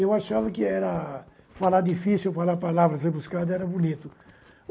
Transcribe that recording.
Eu achava que era falar difícil falar palavras rebuscadas, era bonito.